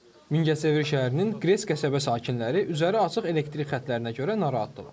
Mingəçevir şəhərinin Qres qəsəbə sakinləri üzəri açıq elektrik xəttlərinə görə narahatdırlar.